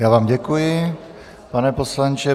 Já vám děkuji, pane poslanče.